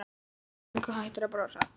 Löngu hættur að brosa.